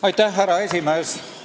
Austatud härra esimees!